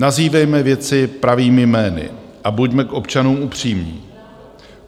Nazývejme věci pravými jmény a buďme k občanům upřímní.